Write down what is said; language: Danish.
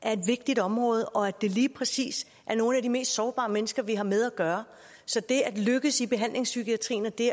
er et vigtigt område og at det lige præcis er nogle af de mest sårbare mennesker vi har med at gøre så det at lykkes i behandlingspsykiatrien og det